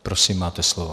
Prosím, máte slovo.